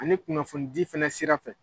Ani kunnafonidi fana sira fɛ.